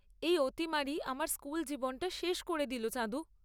এই অতিমারি আমার স্কুল জীবনটা শেষ করে দিল চাঁদু।